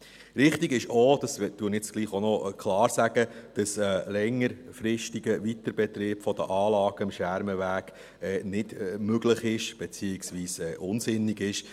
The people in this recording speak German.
Richtig ist auch – das sage ich jetzt doch auch noch klar –, dass ein längerfristiger Weiterbetrieb der Anlagen am Schermenweg nicht möglich beziehungsweise unsinnig ist.